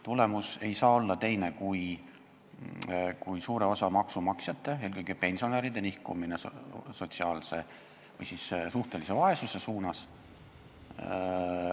Tulemus ei saa olla teine kui suure osa maksumaksjate, eelkõige pensionäride nihkumine sotsiaalse või suhtelise vaesuse suunas.